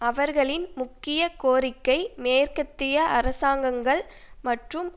அவர்களின் முக்கிய கோரிக்கை மேற்கத்திய அரசாங்கங்கள் மற்றும்